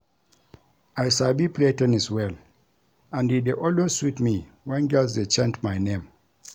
I sabi play ten nis well and e dey always sweet me wen girls dey chant my name